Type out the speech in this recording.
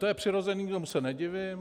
To je přirozené, tomu se nedivím.